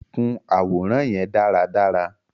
Kun aworan yẹn daradara!